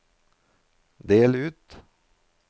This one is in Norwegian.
del ut